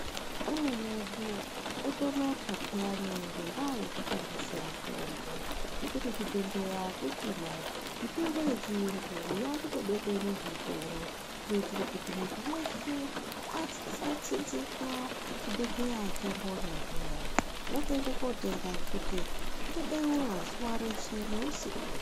Ameni edu otonota peyani ngendaa yekutengese mitombo nekuti zvibhedhleya hakuchina. Mitombo yechiyungu vakutobekwe muzvitoro. Kuitire kuti muntu veshe asa tsinzika chibhedhleya chambonya zviya. Votoende kutenga nekuti zvinobeura zuva reshe neusiku.